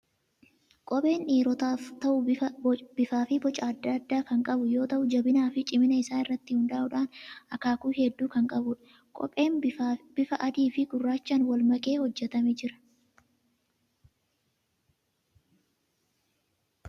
Kopheen dhiirotaaf ta'u bifaa fi boca adda addaa kan qabu yoo ta'u, jabinaa fi cimina isaa irratti hundaa'uudhaan akaakuu hedduu kan qabudha. Kopheen bifa adii fi gurraachaan wal makee hojjetamee jira.